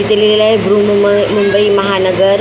इथे लिहिलेलं आहे बृहन् बृहन्मुंबई महानगर--